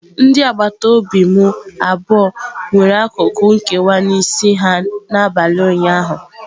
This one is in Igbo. Ndị agbata obi m abụọ nwere akụkụ nkewa n'isi ha n'abalị ụnyaahụ.